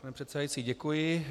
Pane předsedající, děkuji.